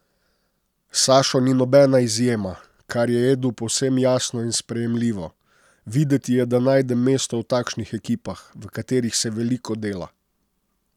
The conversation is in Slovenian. Sašo ni nobena izjema, kar je Edu povsem jasno in sprejemljivo: 'Videti je, da najdem mesto v takšnih ekipah, v katerih se veliko dela.